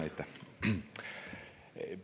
Jah, aitäh!